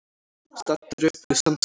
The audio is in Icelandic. Staddur upp við Sandskeið.